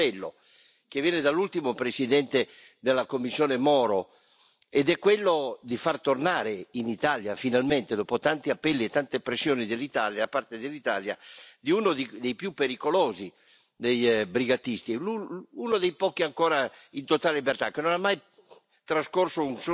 C'è un appello che viene dall'ultimo presidente della Commissione Moro, ed è quello di far tornare in Italia, finalmente, dopo tanti appelli e tante pressioni da parte dell'Italia, uno dei più pericolosi brigatisti e uno dei pochi ancora in totale libertà, che non ha mai trascorso